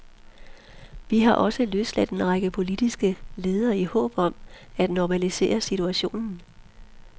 Vi har også løsladt en række politiske ledere i håb om at normalisere situationen.